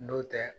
N'o tɛ